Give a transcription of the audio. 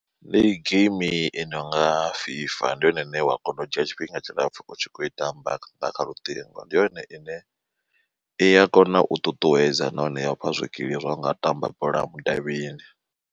Ndi geimi i nonga FIFA ndi yone ine wa kona u dzhia tshifhinga tshilapfu utshi kho i tamba nga kha lutingo, ndi yone ine i ya kona u ṱuṱuwedza nahone ya ufha zwikili zwa unga tamba bola mudavhini.